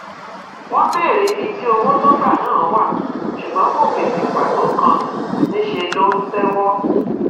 wọn béèrè ibi tí owó tó gbà náà wà ṣùgbọn kò fèsì pàtó kan níṣẹ ló ń tẹwọ